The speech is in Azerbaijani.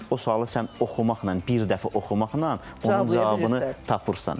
O sualı sən oxumaqla bir dəfə oxumaqla onun cavabını tapırsan.